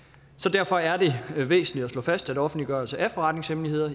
derfor er det væsentligt at slå fast at offentliggørelse af forretningshemmeligheder